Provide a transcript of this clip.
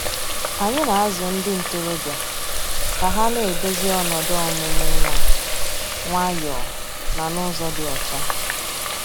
Anyị na-azụ ndị ntorobịa ka ha na-edozi ọnọdụ ọmụmụ nwa nwayọ na n'ụzọ dị ọcha.